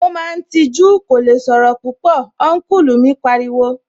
Ó máa ń tijú, kò lè sọ̀rọ̀ púpọ̀, Ọ́nkùlù mi pariwo